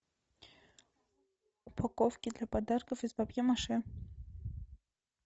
упаковки для подарков из папье маше